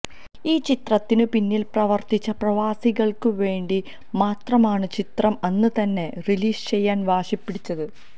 ഈ ചിത്രത്തിന് പിന്നിൽ പ്രവർത്തിച്ച പ്രവാസികൾക്ക് വേണ്ടി മാത്രമാണ് ചിത്രം അന്ന് തന്നെ റിലീസ് ചെയ്യാൻ വാശിപിടിച്ചത്